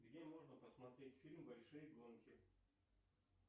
где можно посмотреть фильм большие гонки